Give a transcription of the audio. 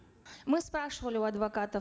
мы спрашивали у адвокатов